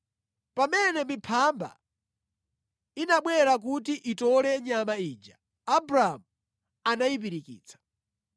Pamene miphamba inabwera kuti itole nyama ija, Abramu anayipirikitsa.